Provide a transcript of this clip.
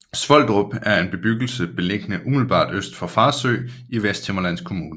Svoldrup er en bebyggelse beliggende umiddelbart øst for Farsø i Vesthimmerlands Kommune